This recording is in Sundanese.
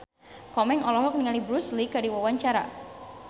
Komeng olohok ningali Bruce Lee keur diwawancara